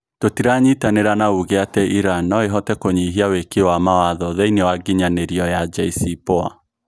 "Tutiranyitanira na uge ati Iran noo ihote kunyihia wiiki wa mawatho thiinie wa nginyanirioya JCPoA.